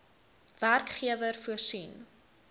werkgewer voorsien